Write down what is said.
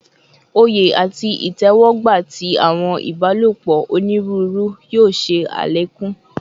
Oye ati itẹwọgba ti awọn ibalopọ oniruuru yoo ṣe alekun